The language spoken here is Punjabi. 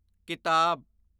ਕਿਤਾਬ